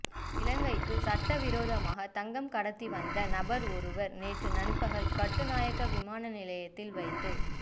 இலங்கைக்கு சட்டவிரோதமாக தங்கம் கடத்தி வந்த நபர் ஒருவர் நேற்று நண்பகல் கட்டுநாயக்க விமானநிலையத்தில் வைத்து